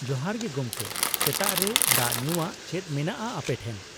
ᱡᱚᱦᱟᱨ ᱜᱮ ᱜᱚᱝᱠᱮ, ᱥᱮᱛᱟᱜ ᱨᱮ ᱫᱟᱜ ᱧᱩᱣᱟᱜ ᱪᱮᱫ ᱢᱮᱱᱟᱜᱼᱟ ᱟᱯᱮ ᱴᱷᱮᱱ ?